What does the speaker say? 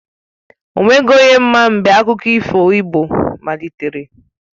O nweghi onye ma mgbe akụkọ ifo igbo malitere